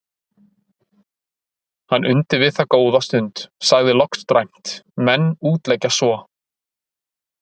Hann undi við það góða stund, sagði loks dræmt:-Menn útleggja svo.